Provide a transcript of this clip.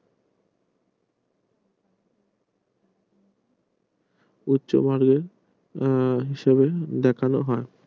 ইচ্ছা বর্গের হিসাবে দেখানো হয়